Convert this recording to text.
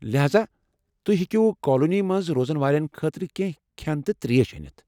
لہاذا، تُہۍ ہیٚکوا کالنی منٛز روزن والٮ۪ن خٲطرٕ کینٛہہ کھیٚن تہٕ ترٛیش أنتھ؟